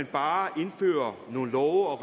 bare kan indføre nogle love og